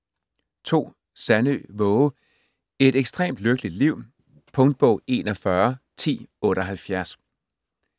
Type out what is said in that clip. Sandø, Waage: Et ekstremt lykkeligt liv Punktbog 411078